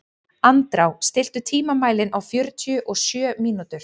Andrá, stilltu tímamælinn á fjörutíu og sjö mínútur.